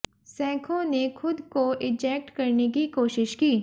सेखों ने खुद को इजेक्ट करने की कोशिश की